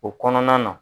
O kɔnɔna na